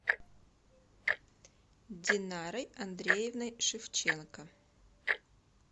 динарой андреевной шевченко